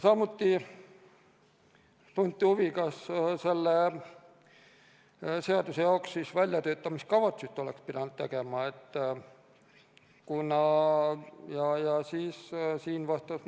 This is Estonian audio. Samuti tunti huvi, kas selle seaduse jaoks oleks pidanud tegema väljatöötamiskavatsuse.